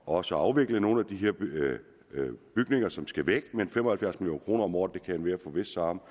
også afvikle nogle af de her bygninger som skal væk men fem og halvfjerds million kroner om året kan enhver forvisse sig om